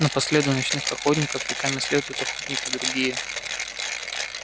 но по следу ночных охотников веками следуют охотники другие